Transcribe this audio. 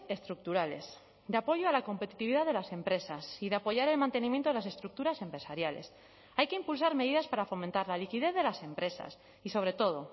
estructurales de apoyo a la competitividad de las empresas y de apoyar el mantenimiento de las estructuras empresariales hay que impulsar medidas para fomentar la liquidez de las empresas y sobre todo